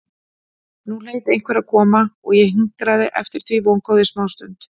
Nú hlaut einhver að koma og ég hinkraði eftir því vongóð í smástund.